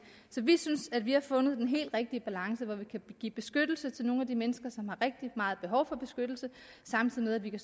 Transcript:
så vi synes at vi har fundet den helt rigtige balance hvor vi kan give beskyttelse til nogle af de mennesker som har rigtig meget behov for beskyttelse samtidig med at vi kan